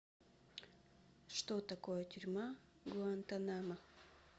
что такое тюрьма в гуантанамо